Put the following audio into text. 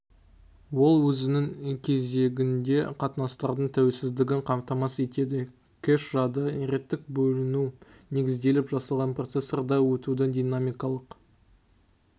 ол өзінің кезегінде қатынастардың тәуелсіздігін қамтамасыз етеді кэш-жады реттік бөліну негізделіп жасалған процессорда өтудің динамикалық